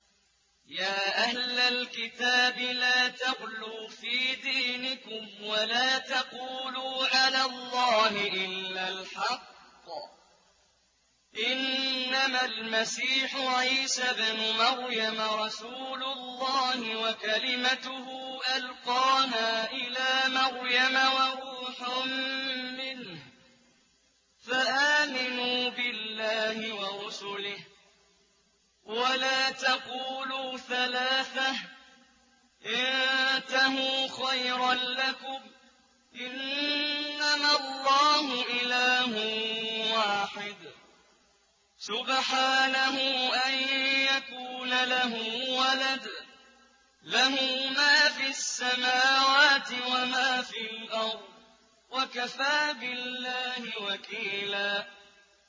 يَا أَهْلَ الْكِتَابِ لَا تَغْلُوا فِي دِينِكُمْ وَلَا تَقُولُوا عَلَى اللَّهِ إِلَّا الْحَقَّ ۚ إِنَّمَا الْمَسِيحُ عِيسَى ابْنُ مَرْيَمَ رَسُولُ اللَّهِ وَكَلِمَتُهُ أَلْقَاهَا إِلَىٰ مَرْيَمَ وَرُوحٌ مِّنْهُ ۖ فَآمِنُوا بِاللَّهِ وَرُسُلِهِ ۖ وَلَا تَقُولُوا ثَلَاثَةٌ ۚ انتَهُوا خَيْرًا لَّكُمْ ۚ إِنَّمَا اللَّهُ إِلَٰهٌ وَاحِدٌ ۖ سُبْحَانَهُ أَن يَكُونَ لَهُ وَلَدٌ ۘ لَّهُ مَا فِي السَّمَاوَاتِ وَمَا فِي الْأَرْضِ ۗ وَكَفَىٰ بِاللَّهِ وَكِيلًا